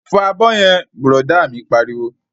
Fọ abọ́ yẹn! Bùrọ̀dá mi pariwo